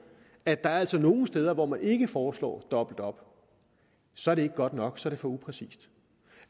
at der altså er nogle steder hvor man ikke foreslår dobbelt op så er det ikke godt nok så er det for upræcist